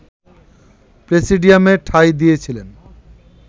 প্রেসিডিয়ামে ঠাঁই দিয়েছিলেন